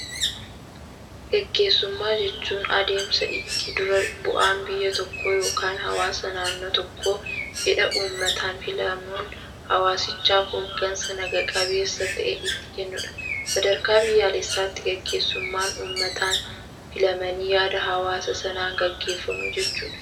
Gaggeessummaa jechuun, adeemsa itti dura bu'aan biyya tokkoo yookaan hawaasa naannoo tokkoo fedha uummataan filamuun hawaasichaaf hooggansa naga-qabeessa ta'e itti kennudha. Sadarkaa biyyaalessaatti gaggeessummaan uummataan filamanii yaada hawaasa sanaan gaggeeffamuu jechuudha.